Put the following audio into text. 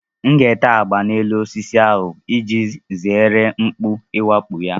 M ga-ete agba n'elu osisi ahụ iji zere mkpú iwakpo ya